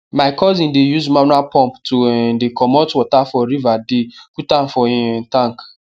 my cousin dey use manual pump to um dey comot water for river dey put am for him um tank